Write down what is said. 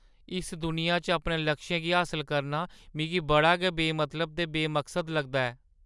इस दुनिया च अपने लक्षें गी हासल करना मिगी बड़ा गै बेमतलब ते बेमकसद लगदा ऐ।